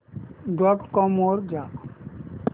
dot com वर जा